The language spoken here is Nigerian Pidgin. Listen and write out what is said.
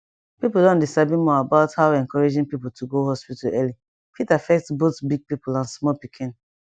people don dey sabi more about how encouraging people to go hospital early fit affect both big people and small pikin